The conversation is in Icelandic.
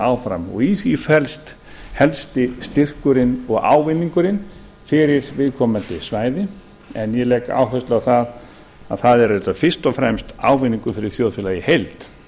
áfram og í því felst helsti styrkurinn og ávinningurinn fyrir viðkomandi svæði en ég legg áherslu á að það er auðvitað fyrst og fremst ávinningur fyrir þjóðfélagið í heild